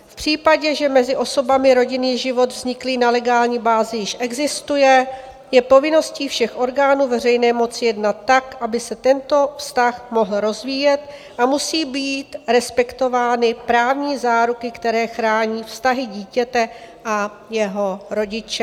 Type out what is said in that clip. V případě, že mezi osobami rodinný život vzniklý na legální bázi již existuje, je povinností všech orgánů veřejné moci jednat tak, aby se tento vztah mohl rozvíjet, a musí být respektovány právní záruky, které chrání vztahy dítěte a jeho rodiče."